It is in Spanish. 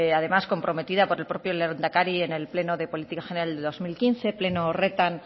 además comprometida por el propio lehendakari en el pleno de política general del dos mil quince pleno horretan